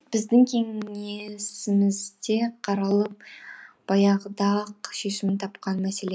бұл біздің кеңесімізде қаралып баяғыда ақ шешімін тапқан мәселе